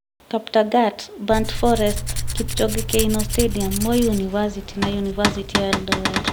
Kaptagat, Burnt Forest, Kipchoge Keino Stadium, Moi University na University ya Eldoret ,